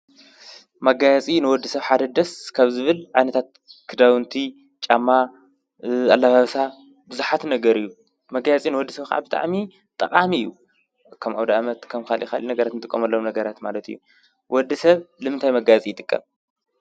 መጋያፂ ንወዲ ሰብ ሓደ ደስ ከብ ዝብል ዓነታት ክዳውንቲ፣ ጫማ ኣለባብሳ ብዙኃት ነገር እዩ። መጋያጺ ንወዲ ሰብ ካብ ብጣዕሚ ጠቓም እዩ። ከም ኣውዳ ኣመት ከም ካልኻሊእ ነገረት እንጥቆመሎም ነገረት ማለት እዩ። ወዲ ሰብ ልምታይ መጋያጺ ይጥቀም?